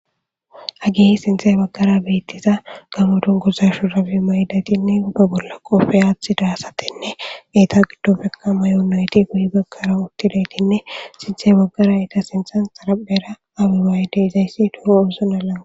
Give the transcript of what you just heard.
Hageey hi sinthe baggara beettiza gamodun gozashu rabi ma yidatinne ubba bolla qofe aathi daasatenne geyta giddofekama yuunayti guhi baggara uttiletinne sinthe baggara ita sinthan xaraphera awuraayde izayssi duho oosonalana